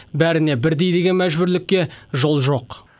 бәріне бірдей деген мәжбүрлікке жол жоқ